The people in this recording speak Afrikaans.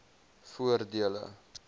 voordele